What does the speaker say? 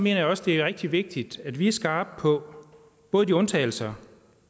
jeg også det er rigtig vigtigt at vi er skarpe på både de undtagelser